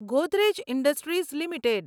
Godrej industries limited